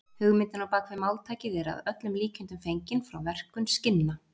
Hugmyndin á bak við máltækið er að öllum líkindum fengin frá verkun skinna.